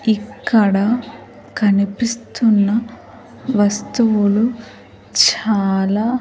ఇక్కడ కనిపిస్తున్న వస్తువులు చాలా.